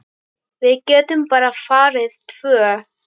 Við getum bara farið tvö.